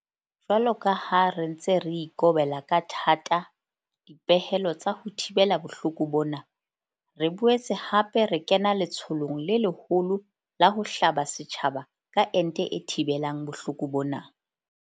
Jwalo ka ha re ntse re ikobela ka thata dipehelo tsa ho thibela bohloko bona, re boetse hape re kena letsholong le leholo la ho hlaba setjhaba ka ente e thibelang bohloko bona.